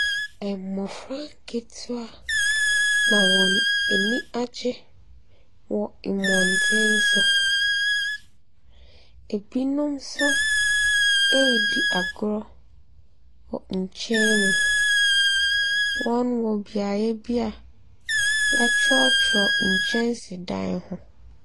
Mmɔfra nketewa na wɔn ani agye wɔ mmɔntene so, ɛbinom nso ɛredi agorɔ wɔ nkyɛn mu. Wɔwɔ beaeɛbbi wɔatwerɛtwerɛ nkyɛnsedan ho.